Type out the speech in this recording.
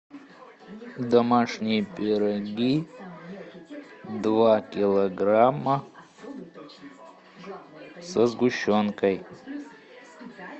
домашние пироги два килограмма со сгущенкой